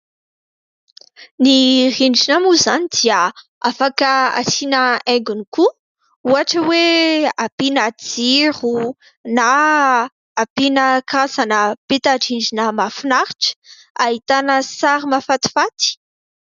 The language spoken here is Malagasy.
Ny rindrina moa izany dia afaka asiana aingony, koa ohatra hoe ampiana jiro na ampiana karazana peta-rindrina mahafinaritra ahitana sary mafatifaty.